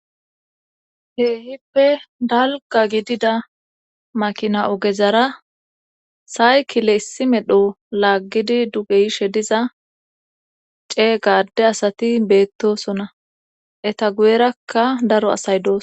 Keehippe dalga gidida makina ogezara saykile issi medho laaggidi dugeyishe diza cee gaadde asati beettosona eta guyerakka daro asay dooso